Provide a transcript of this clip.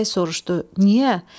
Bolu bəy soruşdu: "Niyə?"